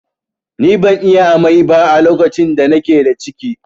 Ni ban yi amai ba a lokacin da na ke da ciki